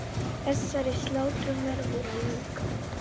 Þessari slátrun verður að ljúka.